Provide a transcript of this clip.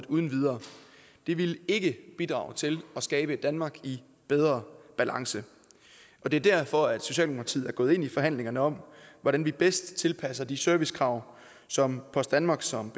uden videre det ville ikke bidrage til at skabe et danmark i bedre balance det er derfor socialdemokratiet er gået ind i forhandlingerne om hvordan vi bedst tilpasser de servicekrav som post danmark som